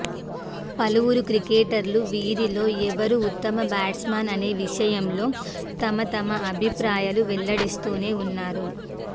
పలువురు క్రికెటర్లు వీరిలో ఎవరూ ఉత్తమ బ్యాట్స్మన్ అనే విషయంలో తమ తమ అభిప్రాయాలు వెల్లడిస్తూనే ఉన్నారు